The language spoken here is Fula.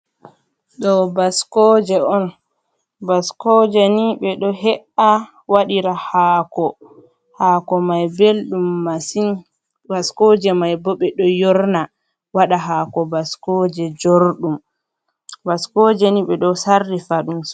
Ɗo baskoje on. Baskoje ni ɓe ɗo he’a waɗira haako. Haako mai belɗum masin. Baskoje mai bo ɓe ɗo yorna waɗa haako baskoje jorɗum. Baskoje ni ɓe do sarrifa ɗum.